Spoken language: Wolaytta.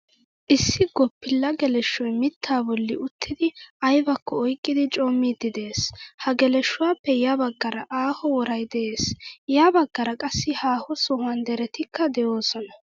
Issi goppila geleshoy miitta bolli uttidi aybakko oyqqidi coommidi de'ees. Ha geleshuwappe ya baggara aaho woray de'ees. Ya baggaara qassi haho sohuwan derettika deosona.